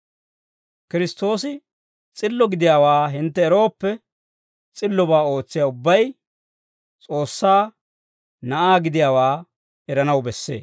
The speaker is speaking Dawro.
Kiristtoosi s'illo gidiyaawaa hintte erooppe, s'illobaa ootsiyaa ubbay S'oossaa na'aa gidiyaawaa eranaw bessee.